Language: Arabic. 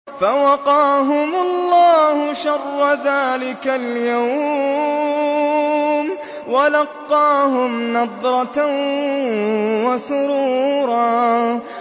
فَوَقَاهُمُ اللَّهُ شَرَّ ذَٰلِكَ الْيَوْمِ وَلَقَّاهُمْ نَضْرَةً وَسُرُورًا